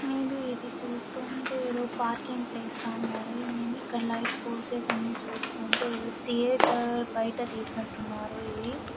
May be ఇది చూస్తూ ఉంటే ఏదో పార్కింగ్ ప్లేస్ లా ఉన్నాది మే బీ ఇక్కడ లైట్ ఫోర్సెస్ అన్నీ చూస్తూ ఉంటే ఏదో థియేటర్ బయట తీసినట్టు ఉన్నారు ఇది మే బీ ఇదేదో ఎక్కడో చూసాననుకుంటా ఇది ధియేటరే అనుకుంటాను ఊమ్ నేను పోయినట్టు ఉన్నాది ఇది సో ఇదేదో సినిమా హాల్ లా ఉన్నాది.